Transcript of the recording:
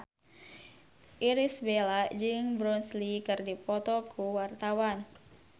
Irish Bella jeung Bruce Lee keur dipoto ku wartawan